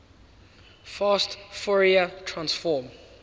fast fourier transform